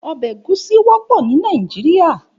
Òbè égúsì wòpò ni Nàijiriá